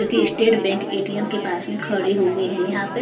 जो कि state bank ATM के पास में खड़े हो गए हैं यहां पे--